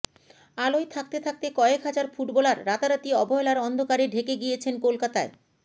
আলোয় থাকতে থাকতে কয়েক হাজার ফুটবলার রাতারাতি অবহেলার অন্ধকারে ঢেকে গিয়েছেন কলকাতায়